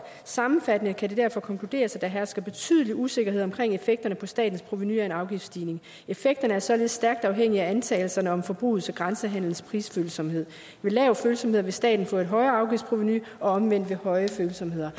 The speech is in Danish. sammenfattende kan det derfor konkluderes at der hersker betydelig usikkerhed omkring effekterne på statens provenu af en afgiftsstigning effekterne er således stærkt afhængige af antagelserne om forbrugets og grænsehandlens prisfølsomhed ved lave følsomheder vil staten få et højere afgiftsprovenu og omvendt ved høje følsomheder